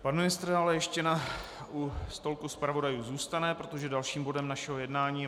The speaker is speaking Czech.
Pan ministr ale ještě u stolku zpravodajů zůstane, protože dalším bodem našeho jednání je